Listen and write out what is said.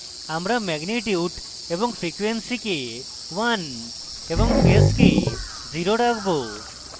আমরা magnitude এবং frequency কে 1 এবং phase কে 0 রাখব